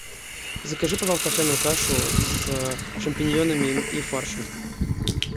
закажи пожалуйста овсяную кашу с шампиньонами и фаршем